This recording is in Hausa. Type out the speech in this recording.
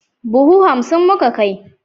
Buhu hansim muka kai.